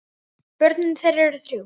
Börn þeirra eru þrjú.